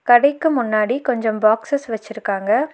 கடைக்கு முன்னாடி கொஞ்சம் பாக்சஸ் வெச்சிருக்காங்க.